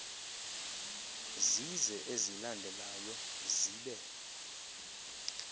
zize ezilandelayo zibe